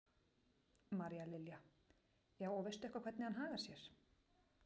María Lilja: Já, og veistu eitthvað hvernig hann hagar sér?